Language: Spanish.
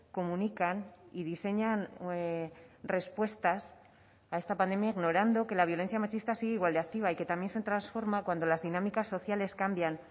comunican y diseñan respuestas a esta pandemia ignorando que la violencia machista sigue igual de activa y que también se transforma cuando las dinámicas sociales cambian